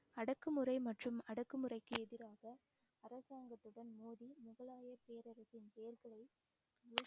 அடக்குமுறை மற்றும் அடக்குமுறைக்கு எதிராக அரசாங்கத்துடன் மோதி முகலாய பேரரசின் பெயர்களை